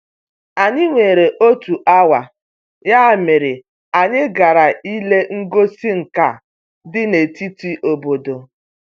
Anyị nwere otu awa, ya mere anyị gara ile ngosi nka dị na-etiti obodo.